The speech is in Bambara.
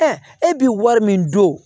e bi wari min don